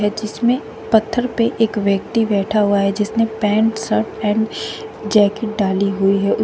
है जिसमे पत्थर पे एक व्यक्ति बैठा हुआ है जिसने पैंट शर्ट एंड जैकेट डाली हुई है उस--